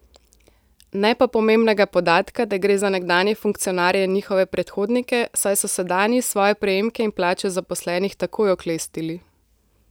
Ne pa pomembnega podatka, da gre za nekdanje funkcionarje in njihove predhodnike, saj so sedanji svoje prejemke in plače zaposlenih takoj oklestili.